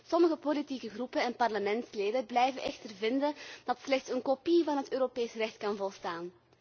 Sommige politieke groepen en parlementsleden blijven echter vinden dat slechts een kopie van het Europees recht kan volstaan.